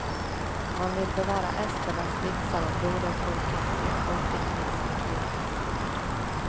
Man vill bevara esternas vitsar om broderfolket i folkdiktningsarkivet.